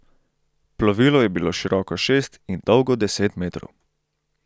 Plovilo je bilo široko šest in dolgo deset metrov.